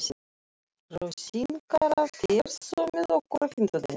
Rósinkara, ferð þú með okkur á fimmtudaginn?